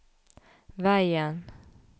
veien